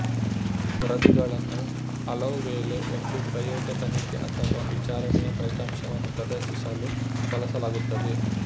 ವರದಿಗಳನ್ನು ಹಲವುವೇಳೆ ಒಂದು ಪ್ರಯೋಗ ತನಿಖೆ ಅಥವಾ ವಿಚಾರಣೆಯ ಫಲಿತಾಂಶವನ್ನು ಪ್ರದರ್ಶಿಸಲು ಬಳಸಲಾಗುತ್ತದೆ